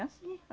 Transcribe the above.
É assim.